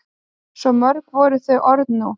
Svo mörg voru þau orð nú.